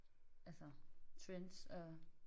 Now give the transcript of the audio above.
Altså trends og